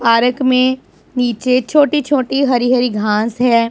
Park में नीचे छोटी छोटी हरी हरी घास है।